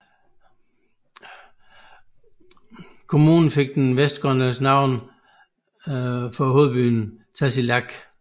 Kommunen fik det vestgrønlandske navn for hovedbyen Tasiilaq